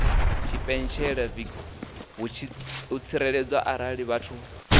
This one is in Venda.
tshipentshela vhutsireledzi arali vha tshi